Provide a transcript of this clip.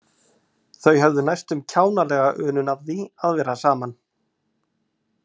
Þau höfðu næstum kjánalega unun af því að vera saman.